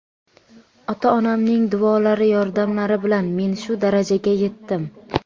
Ota-onamning duolari, yordamlari bilan men shu darajaga yetdim.